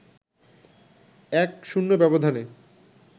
১-০ ব্যবধানে